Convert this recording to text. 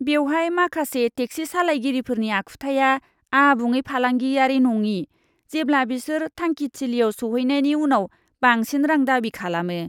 बेवहाय माखासे टेक्सि सालायगिरिफोरनि आखुथाया आबुङै फालांगियारि नङि, जेब्ला बिसोर थांखिथिलियाव सौहैनायनि उनाव बांसिन रां दाबि खालामो।